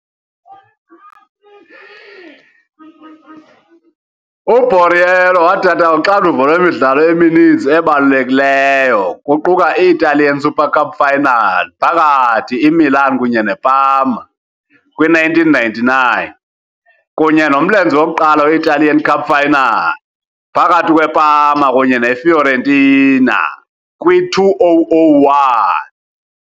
U-Borriello wathatha uxanduva lwemidlalo emininzi ebalulekileyo, kuquka i-Italian Super Cup final phakathi Imilan kunye neParma, kwi-1999, kunye nomlenze wokuqala we-Italian Cup final phakathi kweParma kunye Ifiorentina, kwi-2001.